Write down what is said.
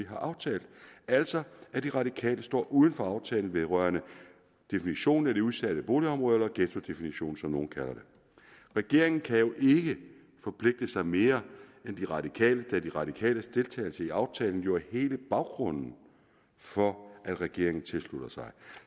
har aftalt altså at de radikale står uden for aftalen vedrørende definitionen af de udsatte boligområder eller ghettodefinitionen som nogle kalder det regeringen kan ikke forpligte sig mere end de radikale da de radikales deltagelse i aftalen jo er hele baggrunden for at regeringen tilslutter sig